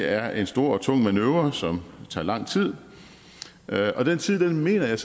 er en stor og tung manøvre som tager lang tid og den tid mener jeg